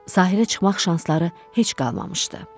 Sahilə çıxmaq şansları heç qalmamışdı.